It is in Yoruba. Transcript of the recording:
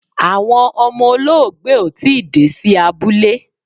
Awọn ọmọ olóògbé ò tii dé sí abúlé